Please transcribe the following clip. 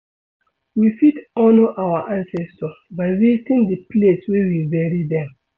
we fit honour our ancestor by visiting di place wey we bury them